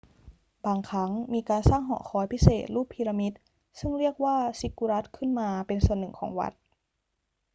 บางครั้งมีการสร้างหอคอยพิเศษรูปพีระมิดซึ่งเรียกว่าซิกกุรัตขึ้นมาเป็นส่วนหนึ่งของวัด